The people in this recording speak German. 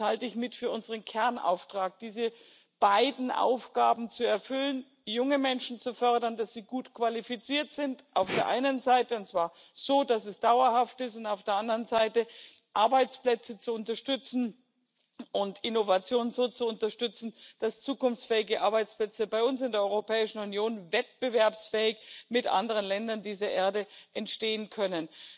Das halte ich mit für unseren Kernauftrag, diese beiden Aufgaben zu erfüllen, junge Menschen zu fördern, damit sie gut qualifiziert sind auf der einen Seite, und zwar so, dass es dauerhaft ist, und auf der anderen Seite Arbeitsplätze zu unterstützen und Innovation so zu unterstützen, dass zukunftsfähige Arbeitsplätze bei uns in der Europäischen Union, wettbewerbsfähig mit anderen Ländern dieser Erde, entstehen können.